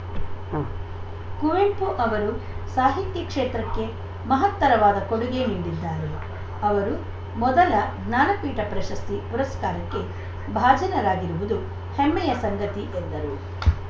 ಉಂ ಕುವೆಂಪು ಅವರು ಸಾಹಿತ್ಯ ಕ್ಷೇತ್ರಕ್ಕೆ ಮಹತ್ತರವಾದ ಕೊಡುಗೆ ನೀಡಿದ್ದಾರೆ ಅವರು ಮೊದಲ ಜ್ಞಾನಪೀಠ ಪ್ರಶಸ್ತಿ ಪುರಸ್ಕಾರಕ್ಕೆ ಭಾಜನರಾಗಿರುವುದು ಹೆಮ್ಮೆಯ ಸಂಗತಿ ಎಂದರು